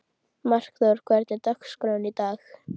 Markþór, hvernig er dagskráin í dag?